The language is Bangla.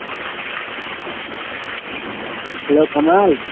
hello কামাল।